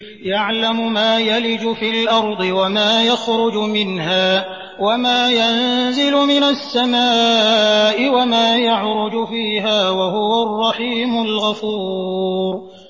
يَعْلَمُ مَا يَلِجُ فِي الْأَرْضِ وَمَا يَخْرُجُ مِنْهَا وَمَا يَنزِلُ مِنَ السَّمَاءِ وَمَا يَعْرُجُ فِيهَا ۚ وَهُوَ الرَّحِيمُ الْغَفُورُ